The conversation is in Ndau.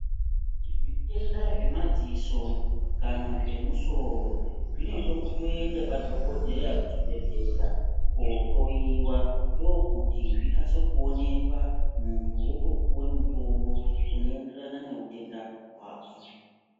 Zvitenda zvemadziso kana zvemusoro, zvinode kutoyenda padhokodheya kuchibhedhlera kohloyiwa. Ndokuti zvikasike kuwonekwa, muntu wotopiwe mutombo unoyenderana newutenda wako.